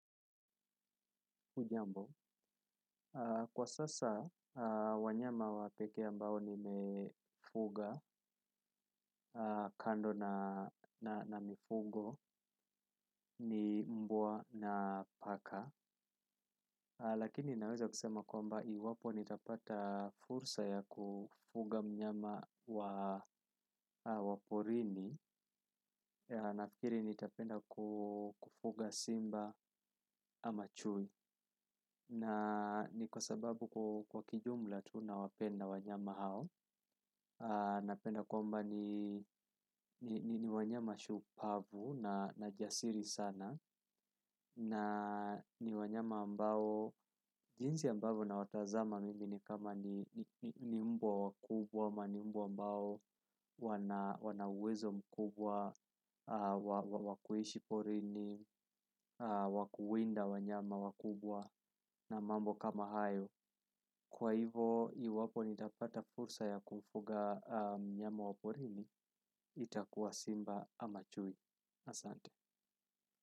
Kwa sasa wanyama wa ndege ambao nimefuga kando na mifugo ni mbwa na paka lakini naweza kusema kwamba iwapo nitapata fursa ya kufuga mnyama wa porini. Nafikiri nitapenda kufuga simba ama chui. Na ni kwa sababu kwa kijumla tu nawapenda wanyama hao. Napenda kwamba ni wanyama shupavu na jasiri sana na ni wanyama ambao, jinsi ambavyo nawatazama mimi ni kama ni mbwa wakubwa ama ni mbwa ambao wana uwezo mkubwa, wa kuishi porini, wa kuwinda wanyama wakubwa na mambo kama hayo kwa hivo, iwapo nitapata fursa ya kufuga mnyama wa porini itakuwa simba ama chui asante.